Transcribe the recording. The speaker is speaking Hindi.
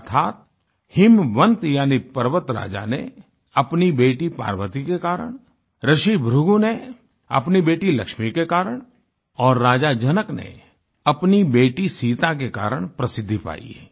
अर्थात हिमवन्त यानी पर्वतराजा ने अपनी बेटी पार्वती के कारण ऋषि भृगु ने अपनी बेटी लक्ष्मी के कारण और राजा जनक ने अपनी बेटी सीता के कारण प्रसिद्धि पायी